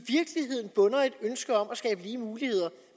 ønske om at skabe lige muligheder